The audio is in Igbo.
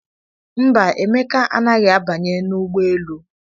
Mba, Emeka anaghị abanye n'ụgbọelu?